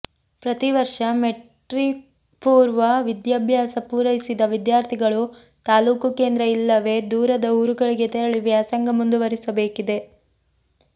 ಪ್ರತಿ ವರ್ಷ ಮೆಟ್ರಿಕ್ಪೂರ್ವ ವಿದ್ಯಾಭ್ಯಾಸ ಪೂರೈಸಿದ ವಿದ್ಯಾರ್ಥಿಗಳು ತಾಲೂಕು ಕೇಂದ್ರ ಇಲ್ಲವೇ ದೂರದ ಊರುಗಳಿಗೆ ತೆರಳಿ ವ್ಯಾಸಂಗ ಮುಂದುವರೆಸಬೇಕಿದೆ